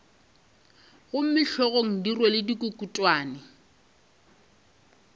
gomme hlogong di rwele dikukutwane